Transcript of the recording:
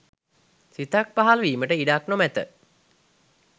සිතක් පහලවීමට ඉඩක් නොමැත.